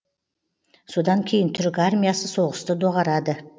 содан кейін түрік армиясы соғысты доғарады